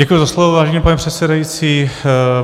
Děkuji za slovo, vážený pane předsedající.